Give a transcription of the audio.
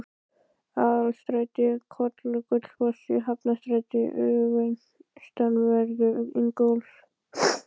Aðalstræti, Hvoll og Gullfoss í Hafnarstræti austanverðu, Ingólfs